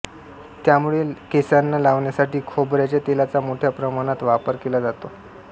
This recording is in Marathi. त्यामूळे केसांना लावण्यासाठी खोबऱ्याच्या तेलाचा मोठ्या प्रमाणात वापर केला जातो